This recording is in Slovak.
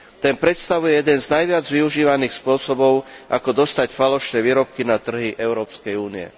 Ten predstavuje jeden z najviac využívaných spôsobov, ako dostať falošné výrobky na trhy Európskej únie.